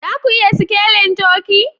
Za ku iya sikelin turkey?